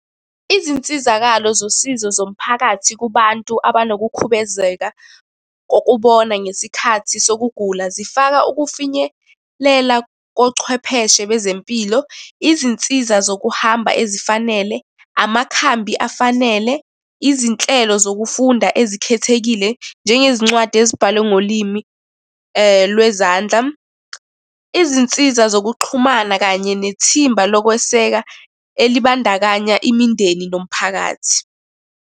Izinsizakalo zosizo zomphakathi kubantu abanokukhubezeka kokubona ngesikhathi sokugula, zifaka ukufinyelela kochwepheshe bezempilo, izinsiza zokuhamba ezifanele, amakhambi afanele, izinhlelo zokufunda ezikhethekile, njengezincwadi ezibhalwe ngolimi lwezandla. Izinsiza zokuxhumana kanye nethimba lokweseka elibandakanya imindeni nomphakathi.